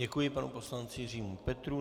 Děkuji panu poslanci Jiřímu Petrů.